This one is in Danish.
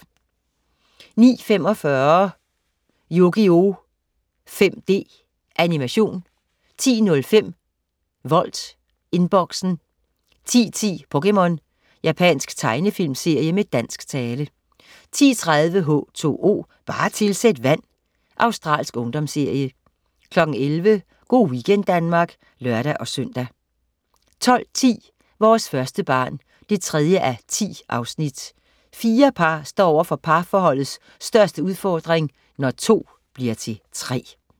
09.45 Yugioh 5D. Animation 10.05 Volt Inboxen 10.10 POKéMON. Japansk tegnefilmserie med dansk tale 10.30 H2O, bare tilsæt vand. Australsk ungdomsserie 11.00 Go' weekend Danmark (lør-søn) 12.10 Vores første barn 3:10. Fire par står over for parforholdets største udfordrin: Når to bliver til tre